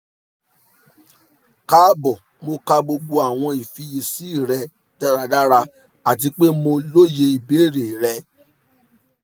kaabo mo ka gbogbo awọn ifiyesi rẹ daradara ati pe mo loye ibeere rẹ